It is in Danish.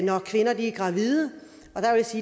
når kvinder er gravide og